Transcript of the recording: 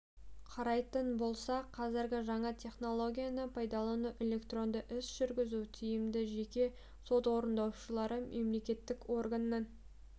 қарайтын болсақ қазір жаңа технологияны пайдалану электронды іс жүргізу тиімді жеке сот орындаушылары мемлекеттік органнан